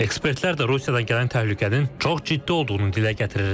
Ekspertlər də Rusiyadan gələn təhlükənin çox ciddi olduğunu dilə gətirirlər.